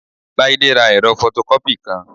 Láídé ra ẹ̀rọ fọtọkọ́pì kan